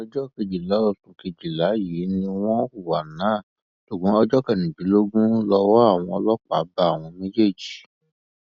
ọjọ kejìlá oṣù kejìlá yìí ni wọn hùwà náà ṣùgbọn ọjọ kẹrìndínlógún lowó àwọn ọlọpàá bá àwọn méjèèjì